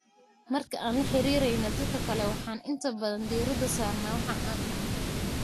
Marka aan la xiriireyno dadka kale, waxaan inta badan diiradda saarna waxa aan dhahno.